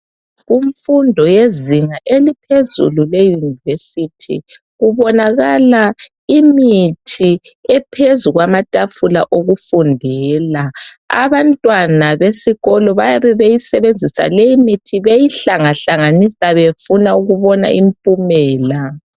Kumfundo yezinga eliphezulu le university kubonakala imithi ephezu kwamatafula okufundela . Abantwana besikolo bayabe beyisebenzisa leyi mithi beyi hlanga hlanganisa befuna ukubona impumela .